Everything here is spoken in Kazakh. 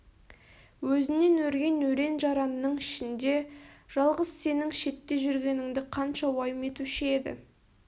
өзінен өрген өрен-жаранның ішінде жалғыз сенің шетте жүргеніңді қанша уайым етуші еді